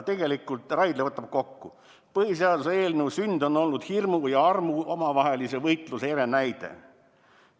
Tegelikult Raidla võtab kokku: "Põhiseaduse eelnõu sünd on olnud hirmu ja armu omavahelise võitluse ere näide.